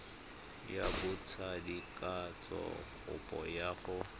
ya botsadikatsho kopo ya go